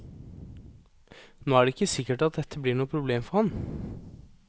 Nå er det ikke sikkert at dette blir noe problem for ham.